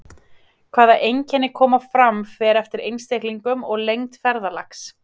Hvaða einkenni koma fram fer eftir einstaklingum og lengd ferðalags.